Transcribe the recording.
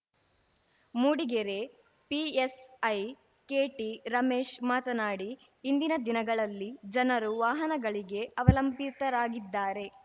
Mudigere PSI KT Ramesh ಮಾತನಾಡಿ ಇಂದಿನ ದಿನಗಳಲ್ಲಿ ಜನರು ವಾಹನಗಳಿಗೆ ಅವಲಂಬಿತರಾಗಿದ್ದಾರೆ